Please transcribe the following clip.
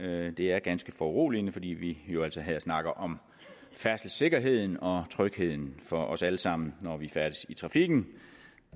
at det er ganske foruroligende fordi vi jo altså her snakker om færdselssikkerheden og trygheden for os alle sammen når vi færdes i trafikken